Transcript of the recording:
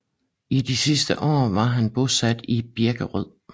I de sidste år var han bosat i Birkerød